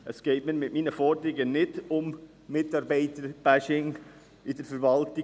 Es geht mir bei meinen Forderungen nicht um ein Mitarbeiter-Bashing bei der Verwaltung.